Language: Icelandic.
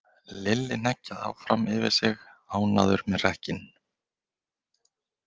Lilli hneggjaði áfram, yfir sig ánægður með hrekkinn.